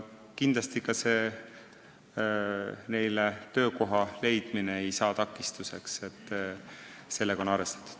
Kindlasti ei saa neile töökoha leidmine takistuseks, sellega on arvestatud.